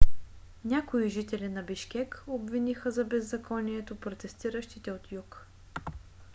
някои жители на бишкек обвиниха за беззаконието протестиращите от юг